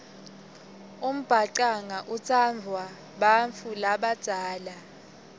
umbhacanga utsandvwa bantfu labadzala